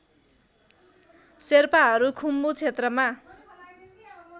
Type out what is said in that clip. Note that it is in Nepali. शेर्पाहरू खुम्बु क्षेत्रमा